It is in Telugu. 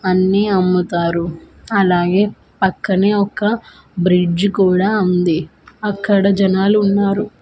అన్నీ అమ్ముతారు అలాగే పక్కనే ఒక బ్రిడ్జ్ కుడా ఉంది అక్కడ జనాలు ఉన్నారు.